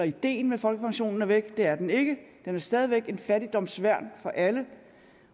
ideen med folkepensionen er væk det er den ikke det er stadig væk et fattigdomsværn for alle